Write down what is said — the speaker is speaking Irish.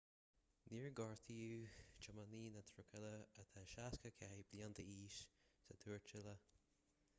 níor gortaíodh tiománaí na trucaile atá 64 bliain d'aois sa tuairteáil